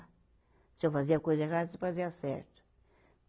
Se eu fazia coisa errada, se fazia certo.